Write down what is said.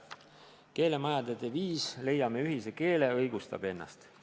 Keelemajade deviis "Leiame ühise keele" õigustab ennast.